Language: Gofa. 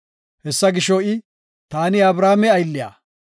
Hessa gisho, I, “Taani Abrahaame aylliya.